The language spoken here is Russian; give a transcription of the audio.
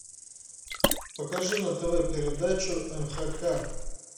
покажи на тв передачу нхк